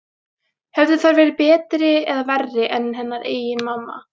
Höfðu þær verið betri eða verri en hennar eigin mamma?